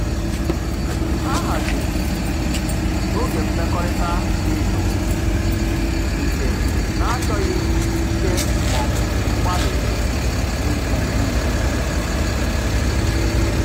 Ha haziri oge mmekọrịta dị jụụ nke na-achọghị ikike maọbụ mgbalị dị ukwuu.